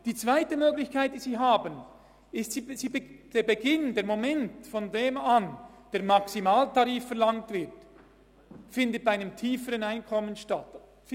Die zweite Möglichkeit wäre, dass die Schwelle, von welcher an der Maximaltarif verlangt wird, auf ein tieferes Einkommen verlegt wird.